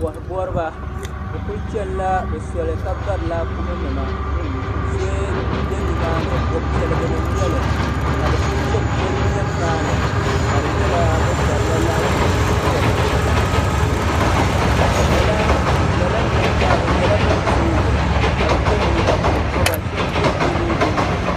koha goriba bɛ kuli chenila bɛ soli ka bari laakumi nima zoya be nimaani bopiɛligini n nyɛli ka bɛ kuli cheni poli niɛm maani ka di nyɛla bɛ barila laakumi nima chena lala niriba maa bɛ nyɛla ban zoogi ka ye liiga konkoba sheba ye yelo yelo.